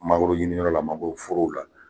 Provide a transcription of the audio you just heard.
Mangoro ɲiniyɔrɔ la mangoro forow la